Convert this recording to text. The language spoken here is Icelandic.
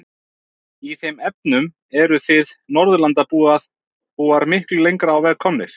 Í þeim efnum eruð þið Norðurlandabúar miklu lengra á veg komnir.